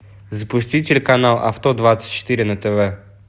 запусти телеканал авто двадцать четыре на тв